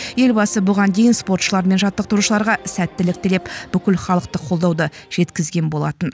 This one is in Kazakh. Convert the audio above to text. елбасы бұған дейін спортшылар мен жаттықтырушыларға сәттілік тілеп бүкілхалықтық қолдауды жеткізген болатын